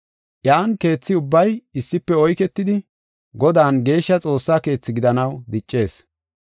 Iyan keetha ubbay issife oyketidi Godan geeshsha Xoossa keethi gidanaw diccees.